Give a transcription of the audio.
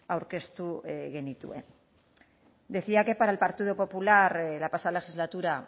aurkeztu genituen decía que para el partido popular la pasada legislatura